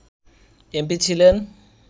MP ছিলেন